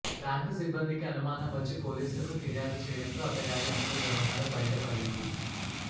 bank సిబ్బందికి అనుమానం వచ్చి పోలీసులకు ఫిర్యాదు చేయడంతో అతగాడి అసలు వ్యవహారం బయటపడింది